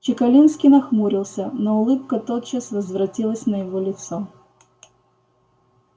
чекалинский нахмурился но улыбка тотчас возвратилась на его лицо